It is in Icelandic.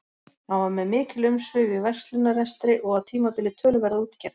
Hann var með mikil umsvif í verslunarrekstri og á tímabili töluverða útgerð.